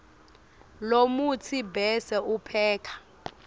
lomutsi bese upheka